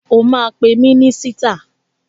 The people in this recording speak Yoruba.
O máa pe mínísítà.